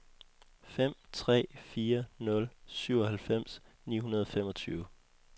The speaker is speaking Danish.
fem tre fire nul syvoghalvfems ni hundrede og femogtyve